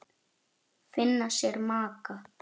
Finna sér maka.